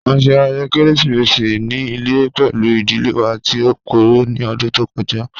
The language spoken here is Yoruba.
A ṣe ayẹyẹ keresimesi ni ile pẹlu idile wa ti o gbooro ni ọdun to kọja.